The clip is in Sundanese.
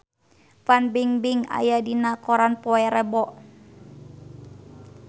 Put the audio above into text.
Fan Bingbing aya dina koran poe Rebo